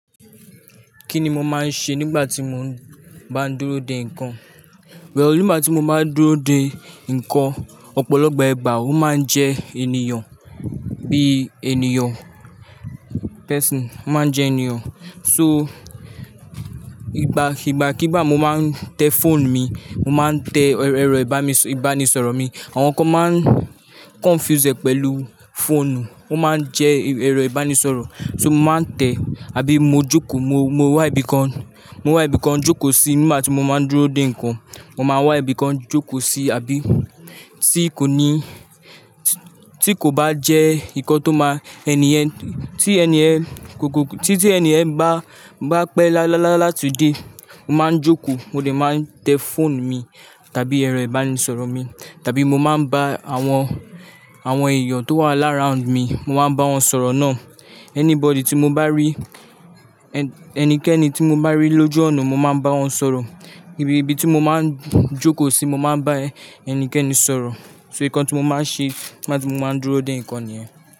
Kí ni mo máa ń ṣe nígbà tí mo ń bá ń dúró de nkan? Well, nígbà tí mo máa ń dúró de ǹkan, ọ̀pọ̀lọpọ̀ ìgbà ó máa ń jẹ́ ènìyàn, bí ènìyàn, person, ó máa ń jẹ́ ènìyàn. So, ìgbà, ìgbà kí bá mo máa ń tẹ phone mi, mo máa ń tẹ ẹrọ ìbánisọ̀rọ̀ mi. Àwọn kan máa ń confuse ẹ pẹ̀lú phone, ó máa ń jẹ́ ẹrọ ìbánisọ̀rọ̀. So, mo máa ń tẹ àbí mo jókòó, mo, mo wá ibìkan, mo wá ibìkan jókòó sí nígbà tí mo máa ń dúró de ǹkan. Mo máa wá ibìkan jókòó sí àbí tí kò ní-- tí kò bá jẹ́ ǹkan tó máa-- ènì yen, tí èni yen, tí, tí ènì yen bá, bá pẹ́ láti de, mo máa ń jókòó, mo de máa ń tẹ phone mi tàbí ẹ̀rọ ìbánisọ̀rọ̀ mi tàbí mo máa ń bá àwọn, àwọn èèyàn tó wà lára round mi, mo máa ń bá wọn sọ̀rọ̀ náà. Anybody tí mo bá rí, ẹnikẹ́ni tí mo bá rí lójú ọ̀nà, mo máa ń bá wọn sọ̀rọ̀. Ibi, ibi tí mo máa ń jókòó sí mo máa ń bá ẹnikẹ́ni sọ̀rọ̀. So, ǹkan tí mo máa ń ṣe nigba tí mo máa ń dúró de ǹkan nìyẹn.